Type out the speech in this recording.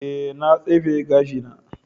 Ee, na tsefe gashina.